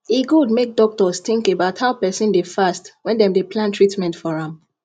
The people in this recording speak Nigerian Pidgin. e good make doctors think about how person dey fast when dem dey plan treatment for am